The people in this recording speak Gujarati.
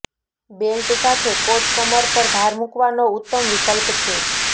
બેલ્ટ સાથે કોટ કમર પર ભાર મૂકવાનો ઉત્તમ વિકલ્પ છે